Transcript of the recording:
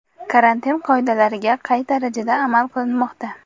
Karantin qoidalariga qay darajada amal qilinmoqda?.